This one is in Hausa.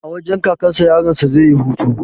A wajen kakan sa yaron sa yayi hutu